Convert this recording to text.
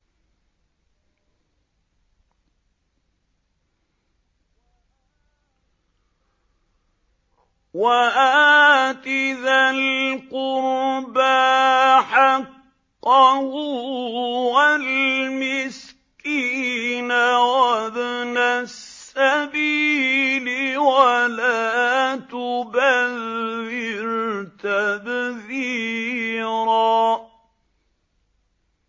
وَآتِ ذَا الْقُرْبَىٰ حَقَّهُ وَالْمِسْكِينَ وَابْنَ السَّبِيلِ وَلَا تُبَذِّرْ تَبْذِيرًا